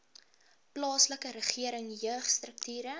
plaaslike regering jeugstrukture